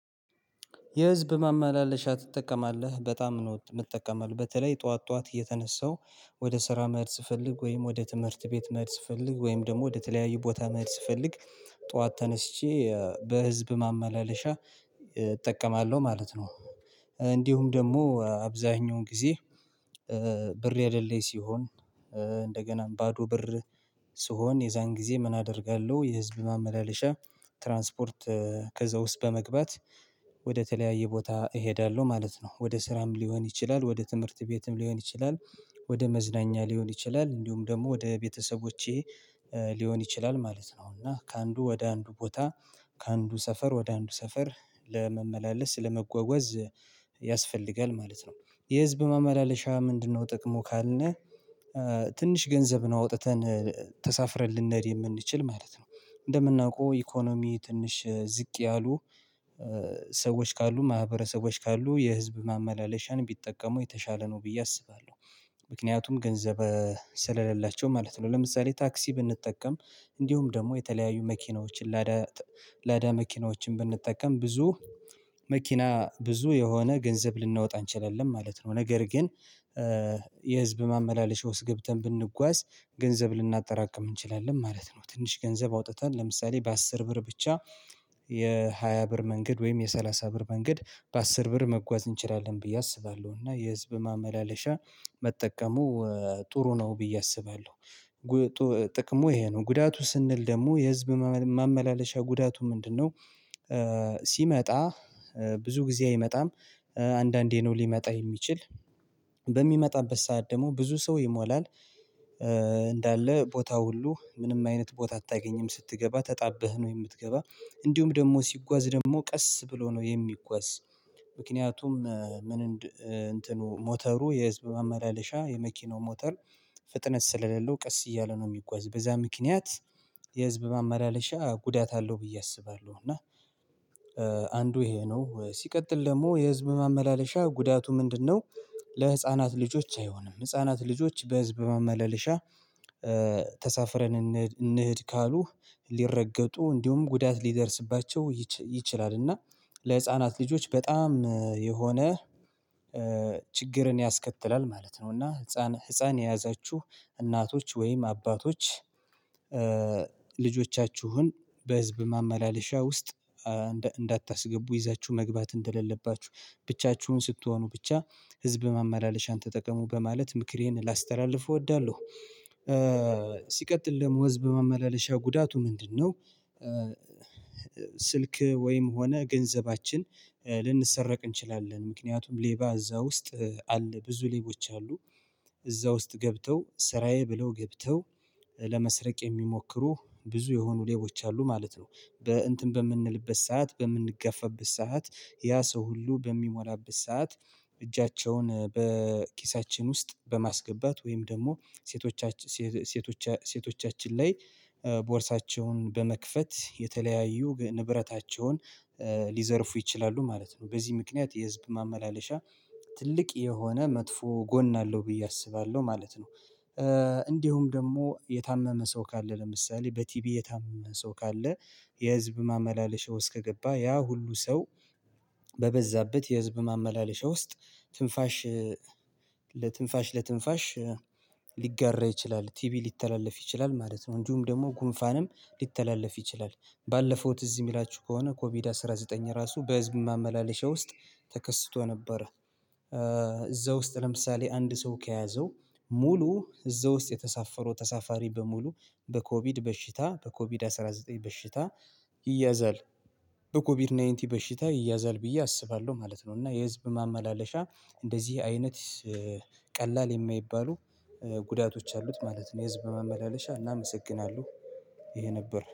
የህዝብ ማመላለሻ ትጠቀማለህ በጣም ነው የምትጠቀመው በተለይ ጠዋት ጠዋት እየተነሳው ወደ ስራ መሄድ ፈልግ ወይም ወደ ትምህርት ቤት መርስ ፈልግ ወይም ደግሞ ወደ ተለያዩ ቦታ መርስ ፈልግ ጠዋት ተነስቼ በህዝብ ማመላለሻ እጠቀማለሁ ማለት ነው። እንዲሁም ደግሞ አብዛኛውን ጊዜ ብር ያደለኝ ሲሆን እንደገና ባዶ ብር ስሆን የዛን ጊዜ ምን አደርጋለሁ? የህዝብ ማመላለሻ ትራንስፖርት ከዛ ውስጥ በመግባት ወደተለያየ ቦታ እሄዳለሁ ማለት ነው። ወደ ስራም ሊሆን ይችላል ወደ ትምህርት ቤትም ሊሆን ይችላል ወደ መዝናኛ ሊሆን ይችላል እንዲሁም ደግሞ ወደ ቤተሰቦቼ ሊሆን ይችላል ማለት ነው። እና ከአንዱ ወደ አንዱ ቦታ ከአንዱ ሰፈር ወደ አንዱ ሰፈር ለመመላለስ ለመጓጓዝ ያስፈልጋል ማለት ነው። የህዝብ ማመላለሻ ምንድነው ጥቅሙ ካልነህ? ትንሽ ገንዘብ ነው አውጥተን ተሳፍረን ልንሄድ የምንችል ማለት ነው። እንደምናውቀው ኢኮኖሚ ትንሽ ዝቅ ያሉ ሰዎች ካሉ ማህበረሰቦች ካሉ የህዝብ ማመላለሻን ቢጠቀሙ የተሻለ ነው ብዬ አስባለሁ። ምክንያቱም ገንዘብ ስለሌላቸው ማለት ነው። ለምሳሌ ታክሲ ብንጠቀም እንዲሁም ደግሞ የተለያዩ መኪናዎችን ላዳ ላዳ ለደ መኪናዎችን ብንጠቀም ብዙ መኪና ብዙ የሆነ ገንዘብ ልናወጣ አንችልም ማለት ነው። ነገር ግን የህዝብ ማመላለሻ ውስጥ ገብተን ብንጓዝ ገንዘብ ልናጠራቅም እንችላለን ማለት ነው። ትንሽ ገንዘብ አውጥተን ለምሳሌ በአስር ብር ብቻ የሃያ ብር መንገድ ወይም የሰላሳ ብር መንገድ በአስር ብር መጓዝ እንችላለን ብዬ አስባለሁ። እና የህዝብ ማመላለሻ መጠቀሙ ጥሩ ነው ብዬ አስባለሁ። ጥቅሙ ይሄ ነው ጉዳቱ ስንል ደግሞ የህዝብ ማመላለሻ ጉዳቱ ምንድነው? ሲመጣ ብዙ ጊዜ አይመጣም። አንዳንዴ ነው ሊመጣ የሚችል በሚመጣበት ሰዓት ደግሞ ብዙ ሰው ይሞላል። እንዳለ ቦታው ሁሉ ምንም አይነት ቦታ አታገኝም ስትገባ ተጣብህ ነው የምትገባ። እንዲሁም ደግሞ ሲጓዝ ደግሞ ቀስ ብሎ ነው የሚጓዝ። ምክንያቱም ምን እንትኑ ሞተሩ የህዝብ መመላለሻ የመኪናው ሞተር ፍጥነት ስለሌለው ቀስ እያለ ነው የሚጓዝ። በዛ ምክንያት የህዝብ መመላለሻ ጉዳት አለው ብዬ አስባለሁ። እና አንዱ ይሄ ነው ሲቀጥል ደግሞ የህዝብ ማመላለሻ ጉዳቱ ምንድነው? ለህፃናት ልጆች አይሆንም ህፃናት ልጆች በህዝብ ማመላለሻ ተሳፍረን እንሄድ ካሉ ሊረገጡ እንዲሁም ጉዳት ሊደርስባቸው ይችላል። እና ለህፃናት ልጆች በጣም የሆነ ችግርን ያስከትላል ማለት ነው። እና ህፃን ህፃን የያዛችሁ እናቶች ወይም አባቶች ልጆቻችሁን በህዝብ ማመላለሻ ውስጥ እንዳታስገቡ ይዛችሁ መግባት እንደሌለባችሁ ብቻችሁን ስትሆኑ ብቻ ህዝብ ማመላለሻን ተጠቀሙ በማለት ምክሬን ላስተላልፉ እወዳለሁ። ሲቀጥል ደግሞ ህዝብ ማመላለሻ ጉዳቱ ምንድነው? ስልክ ወይም ሆነ ገንዘባችን ልንሰረቅ እንችላለን። ምክንያቱም ሌባ እዛ ውስጥ አለ ብዙ ሌቦች አሉ። እዛ ውስጥ ገብተው ስራዬ ብለው ገብተው ለመስረቅ የሚሞክሩ ብዙ የሆኑ ሌቦች አሉ ማለት ነው። በእንትን በምንልበት ሰዓት በምንገፋበት ሰዓት ያ ሰው ሁሉ በሚሞላበት ሰዓት እጃቸውን ውስጥ በማስገባት ወይም ደግሞ ሴቶቻችን ሴቶቻችን ሴቶቻችን ላይ ቦርሳቸውን በመክፈት የተለያዩ ንብረታቸውን ሊዘርፉ ይችላሉ ማለት ነው። በዚህ ምክንያት የህዝብ ማመላለሻ ትልቅ የሆነ መጥፎ ጎን አለው ብዬ አስባለሁ ማለት ነው። እንዲሁም ደግሞ የታመመ ሰው ካለ ለምሳሌ በቲቪ የታመመ ሰው ካለ የህዝብ ማመላለሻው ውስጥ ከገባ ያ ሁሉ ሰው በበዛበት የህዝብ ማመላለሻ ውስጥ ትንፋሽ ለትንፋሽ ለትንፋሽ ሊጋራ ይችላል ቲቪ ሊተላለፍ ይችላል ማለት ነው። እንጂም ደግሞ ጉንፋንም ሊተላለፍ ይችላል። ባለፈው ትዝ የሚላችሁ ከሆነ ኮቪድ አስራ ዘጠኝ ራሱ በህዝብ ማመላለሻ ውስጥ ተከስቶ ነበር። እዛ ውስጥ ለምሳሌ አንድ ሰው ከያዘው ሙሉ እዛ ውስጥ የተሳፈረው ተሳፋሪ በሙሉ በኮቪድ በሽታ በኮቪድ አስራ ዘጠኝ በሽታ ይያዛል በኮቪድ ናይንቲ በሽታ ይያዛል ብዬ አስባለሁ ማለት ነው። እና የህዝብ ማመላለሻ እንደዚህ አይነት ቀላል የማይባሉ ጉዳቶች አሉት ማለት ነው። የህዝብ በማመላለሻ እናመሰግናለሁ ይሄ ነበር